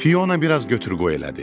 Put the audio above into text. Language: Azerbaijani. Fiona biraz götür-qoy elədi.